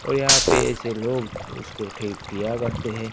और यहां पे ऐसे लोग उसको ठीक किया करते हैं।